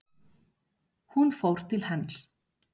Hún fór til hans.